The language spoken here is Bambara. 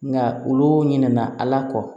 Nka olu ɲinɛna ala kɔ